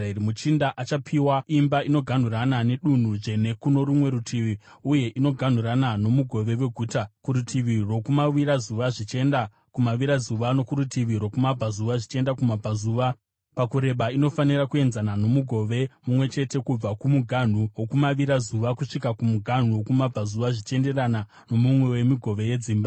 “ ‘Muchinda achapiwa nyika inoganhurana nedunhu dzvene kuno rumwe rutivi uye inoganhurana nomugove weguta. Kurutivi rwokumavirazuva zvichienda kumavirazuva, nokurutivi rwokumabvazuva zvichienda kumabvazuva, pakureba inofanira kuenzana nomugove mumwe chete kubva kumuganhu wokumavirazuva kusvika kumuganhu wokumabvazuva, zvichienderana nomumwe wemigove yedzimba.